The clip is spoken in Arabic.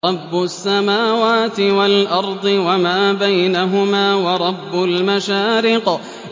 رَّبُّ السَّمَاوَاتِ وَالْأَرْضِ وَمَا بَيْنَهُمَا وَرَبُّ الْمَشَارِقِ